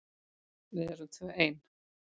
Við erum tvö ein.